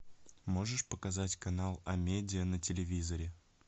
можешь показать канал а медиа на телевизоре